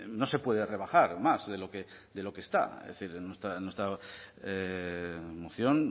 no se puede rebajar más de lo que está es decir nuestra moción